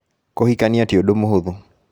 Kũhikania ti ũndũ mũhũthũ